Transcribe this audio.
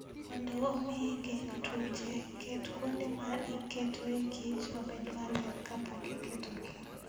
Mondo omi igeng' tuoche, ket kuonde ma iketoe kich obed maler kapok iketogi.